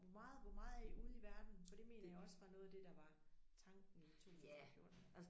Hvor meget hvor meget er I ude i verden for det mener jeg også var noget af det der var tanken i 2014